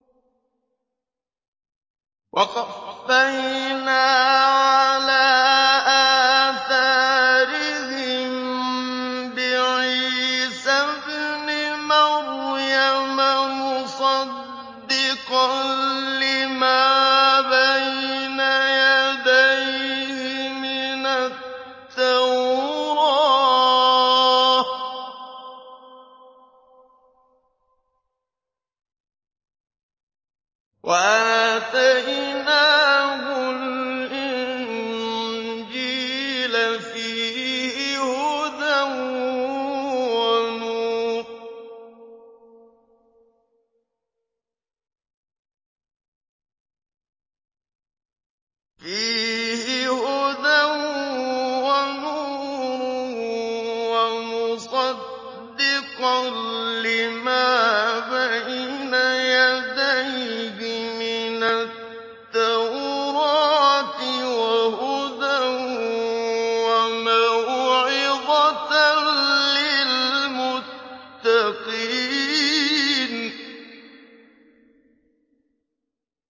وَقَفَّيْنَا عَلَىٰ آثَارِهِم بِعِيسَى ابْنِ مَرْيَمَ مُصَدِّقًا لِّمَا بَيْنَ يَدَيْهِ مِنَ التَّوْرَاةِ ۖ وَآتَيْنَاهُ الْإِنجِيلَ فِيهِ هُدًى وَنُورٌ وَمُصَدِّقًا لِّمَا بَيْنَ يَدَيْهِ مِنَ التَّوْرَاةِ وَهُدًى وَمَوْعِظَةً لِّلْمُتَّقِينَ